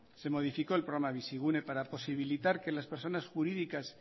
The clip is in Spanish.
se modificó el programa de bizigune para posibilitar que las personas jurídicas